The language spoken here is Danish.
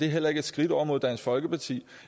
heller ikke et skridt over mod dansk folkeparti